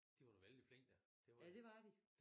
De var da vældig flinke da